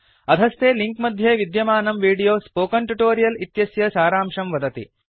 अधस्थे लिंक मध्ये विद्यमानं वीडियो स्पोकन ट्युटोरियल् इत्यस्य सारांशं वदति